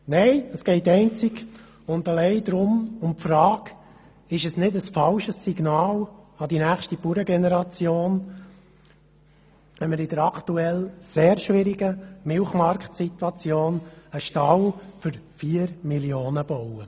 Nein, es geht einzig und allein um die Frage, ob es nicht ein falsches Signal an die nächste Bauerngeneration ist, wenn wir in der aktuell sehr schwierigen Milchmarktsituation einen Stall für 4 Mio. Franken bauen.